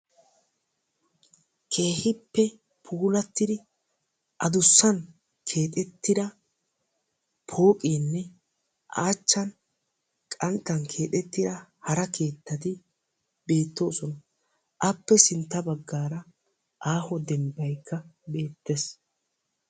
keehippe puulattidi addussan keexettida pooqeenne a achchan qanttan keexettida hara keettati beettoosona. appe sintta baggaara aaho dembbaykka beettes.